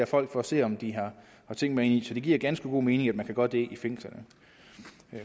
folk for at se om de har ting med ind så det giver ganske god mening at man kan gøre det i fængslerne